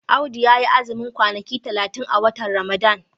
Audu ya yi azumin kwanaki talatin a watan Ramadan.